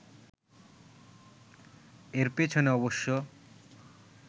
এর পেছনে অবশ্য